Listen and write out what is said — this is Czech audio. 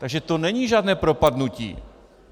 Takže to není žádné propadnutí.